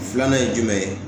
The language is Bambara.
Filanan ye jumɛn ye